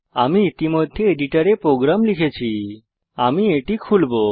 আমি ইতিমধ্যে এডিটরে প্রোগ্রাম লিখে ফেলেছি আমি এটি খুলবো